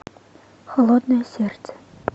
холодное сердце